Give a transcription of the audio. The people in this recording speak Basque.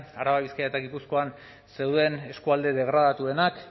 araba bizkaia eta gipuzkoan zeuden eskualde degradatuenak